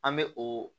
An bɛ o